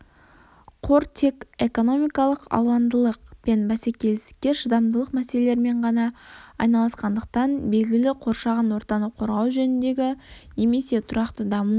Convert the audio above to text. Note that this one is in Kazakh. қор тек экономикалық алуандылық пен бәсекелестікке шыдамдылық мәселелерімен ғана айналысқандықтан белгілі қоршаған ортаны қорғау жөніндегі немесе тұрақты даму